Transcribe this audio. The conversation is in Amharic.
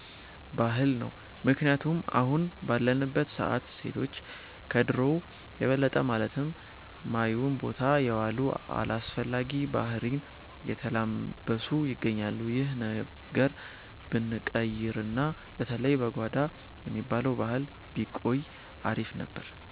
ባህል ነው። ምክንያቱም አሁን ባለንበት ሰዓት ሴቶች ከድሮው የበለጠ ማለት ማዮን ቦታ የዋሉ፣ አላስፈላጊ ባህሪን የተላበሱ ይገኛሉ። ይህ ነገር ብንቀይርና በተለይ "በጓዳ" የሚባለው ባህል ቢቆይ አሪፍ ነበር።